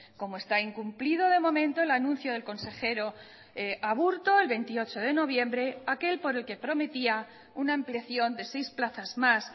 como está incumplido de momento el anuncio del consejero aburto el veintiocho de noviembre aquel por el que prometía una ampliación de seis plazas más